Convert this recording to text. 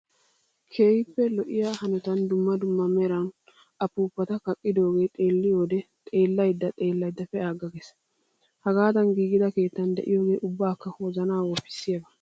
Keehippe lo'iyaa hanotan dumma dumma meran upuuppata kaqqidoogee xeelliyoode xellayidda pee''aaga pee''aaga ges. Hagaadan giigida keettan diyooge ubbakka wozanaa woppissiyaaba .